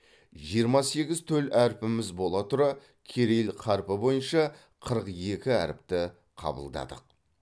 жиырма сегіз төл әрпіміз бола тұра кирилл қарпі бойынша қырық екі әріпті қабылдадық